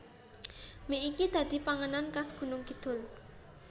Mie iki dadi panganan khas Gunungkidul